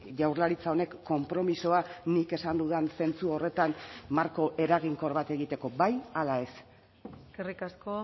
jaurlaritza honek konpromisoa nik esan dudan zentzu horretan marko eraginkor bat egiteko bai ala ez eskerrik asko